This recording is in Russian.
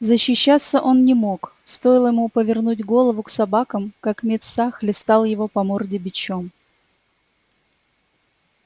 защищаться он не мог стоило ему повернуть голову к собакам как мит са хлестал его по морде бичом